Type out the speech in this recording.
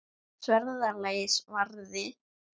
Sverða lagið varði.